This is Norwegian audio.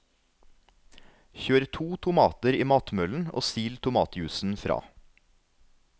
Kjør to tomater i matmøllen og sil tomatjuicen fra.